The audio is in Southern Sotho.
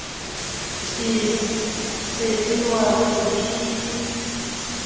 se ke wa re ke